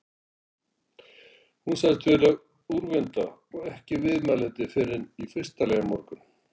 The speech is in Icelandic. Hún sagðist vera úrvinda og ekki viðmælandi fyrren í fyrsta lagi á morgun.